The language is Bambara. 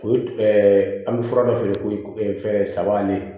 O an bɛ fura dɔ feere ko fɛn saba ale